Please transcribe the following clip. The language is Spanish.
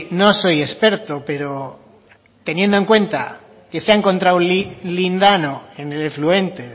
no soy experto pero teniendo en cuenta que se ha encontrado lindano en el afluente